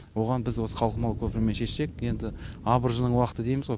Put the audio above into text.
оған біз осы қалқымалы көпірмен шешсек енді абыржының уақыты дейміз ғой